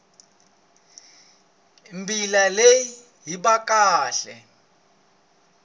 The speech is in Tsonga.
mbila leyi yi ba kahle